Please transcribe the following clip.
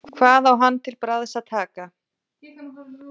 Hvað á hann til bragðs að taka?